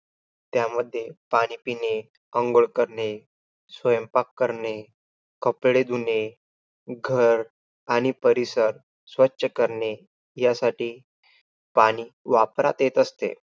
त्यामध्ये पाणी पिणे, अंघोळ करणे, स्वयंपाक करणे, कपडे धुणे, घर आणि परिसर स्वछ करणे यासाठी पाणी वापरात येत असते.